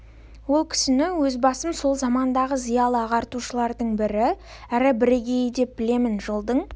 ол кісіні өз басым сол замандағы зиялы ағартушылардың бірі әрі бірегейі деп білемін жылдың